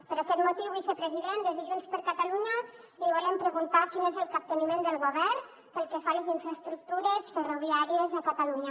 per aquest motiu vicepresident des de junts per catalunya li volem preguntar quin és el capteniment del govern pel que fa a les infraestructures ferroviàries a catalunya